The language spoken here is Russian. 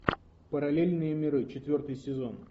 параллельные миры четвертый сезон